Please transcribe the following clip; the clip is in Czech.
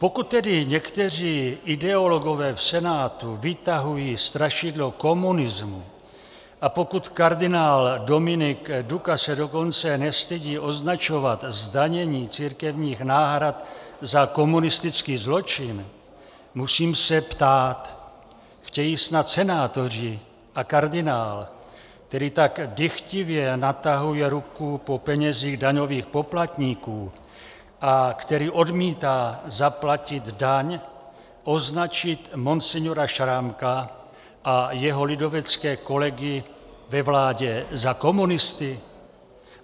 Pokud tedy někteří ideologové v Senátu vytahují strašidlo komunismu a pokud kardinál Dominik Duka se dokonce nestydí označovat zdanění církevních náhrad za komunistický zločin, musím se ptát: Chtějí snad senátoři a kardinál, který tak dychtivě natahuje ruku po penězích daňových poplatníků a který odmítá zaplatit daň, označit monsignora Šrámka a jeho lidovecké kolegy ve vládě za komunisty?